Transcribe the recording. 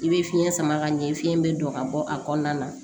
I bɛ fiɲɛ sama ka ɲɛ fiyɛn bɛ don ka bɔ a kɔnɔna na